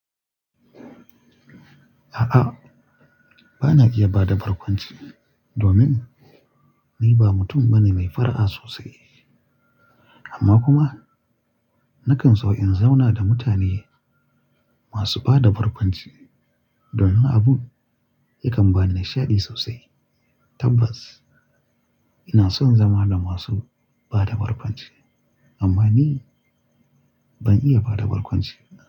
A'a, ba na iya ba da barkwanci domin ni ba mutum bane mai fara'a sosai. Amma kuma na kan so in zauna da mutane masu ba da barkwanci domin abun yakan ba nishadi sosai. Tabbas, ina son zama da masu ba da barkwanci amma ni ban iya ba da barkwanci.